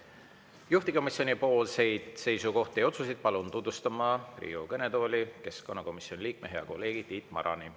Juhtivkomisjoni seisukohti ja otsuseid palun tutvustama Riigikogu kõnetooli keskkonnakomisjoni liikme, hea kolleegi Tiit Marani.